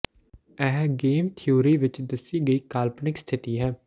ਇਹ game theory ਵਿਚ ਦੱਸੀ ਗਈ ਕਾਲਪਨਿਕ ਸਥਿਤੀ ਹੈ